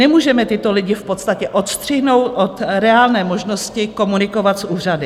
Nemůžeme tyto lidi v podstatě odstřihnout od reálné možnosti komunikovat s úřady.